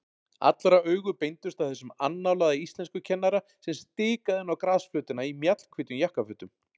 Allra augu beindust að þessum annálaða íslenskukennara sem stikaði inn á grasflötina í mjallhvítum jakkafötum.